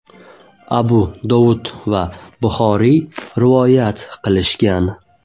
Abu Dovud va Buxoriy rivoyat qilishgan.